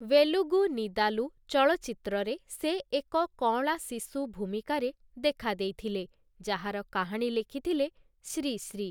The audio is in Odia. ଭେଲୁଗୁ ନିଦାଲୁ' ଚଳଚ୍ଚିତ୍ରରେ ସେ ଏକ କଅଁଳାଶିଶୁ ଭୂମିକାରେ ଦେଖାଦେଇଥିଲେ, ଯାହାର କାହାଣୀ ଲେଖିଥିଲେ ଶ୍ରୀ ଶ୍ରୀ ।